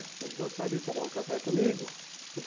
Vocês gostariam de tomar um café comigo?